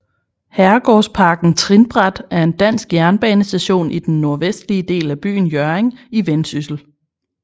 Herregårdsparken Trinbræt er en dansk jernbanestation i den nordvestlige del af byen Hjørring i Vendsyssel